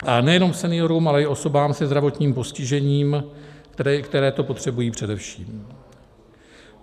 A nejenom seniorům, ale i osobám se zdravotním postižením, které to potřebují především.